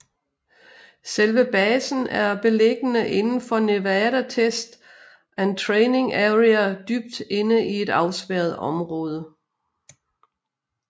Selve basen er beliggende inden for Nevada Test and Training Area dybt inde i et afspærret område